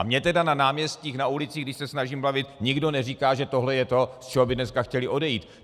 A mně tedy na náměstích, na ulicích, když se snažím bavit, nikdo neříká, že tohle je to, z čeho by dneska chtěli odejít.